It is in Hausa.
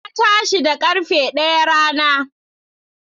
Na tashi da karfe daya rana.